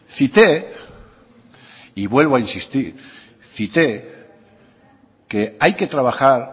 cité y vuelvo a insistir cité que hay que trabajar